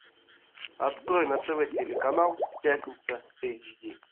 открой на тв телеканал пятница эйч ди